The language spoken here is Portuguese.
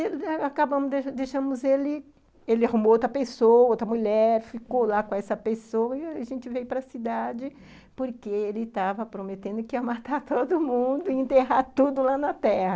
E acabamos, deixamos ele, ele arrumou outra pessoa, outra mulher ,uhum, ficou lá com essa pessoa e a gente veio para cidade, porque ele estava prometendo que ia matar todo mundo e enterrar tudo lá na terra.